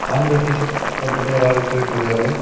Orange colour T shirt போட்டுட்டு ஒரு ஆள் போயிட்டுருக்காரு.